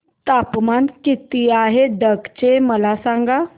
तापमान किती आहे डांग चे मला सांगा